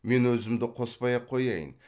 мен өзімді қоспай ақ қояйын